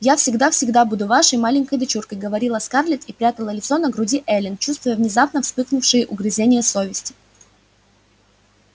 я всегда всегда буду вашей маленькой дочуркой говорила скарлетт и прятала лицо на груди эллин чувствуя внезапно вспыхнувшие угрызения совести